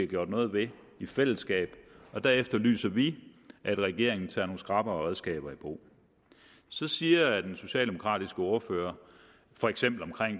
gjort noget ved i fællesskab og der efterlyser vi at regeringen tager nogle skrappere redskaber i brug så siger den socialdemokratiske ordfører for eksempel